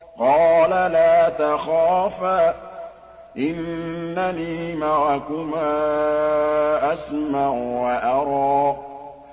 قَالَ لَا تَخَافَا ۖ إِنَّنِي مَعَكُمَا أَسْمَعُ وَأَرَىٰ